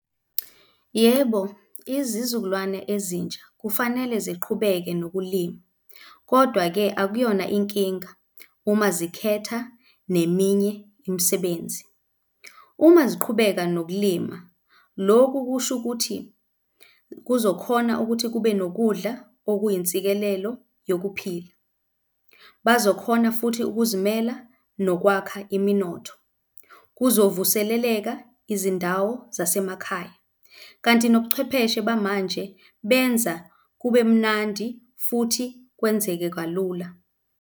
Yebo, izizukulwane ezintsha kufanele ziqhubeke nokulima, kodwa-ke akuyona inkinga uma zikhetha neminye imisebenzi. Uma ziqhubeka nokulima, loku kusho ukuthi kuzokhona ukuthi kube nokudla okuyinsikelelo yokuphila. Bazokhona futhi ukuzimela nokwakha iminotho. Kuzovuseleleka izindawo zasemakhaya. Kanti nobuchwepheshe bamanje benza kube mnandi futhi kwenzeke kalula.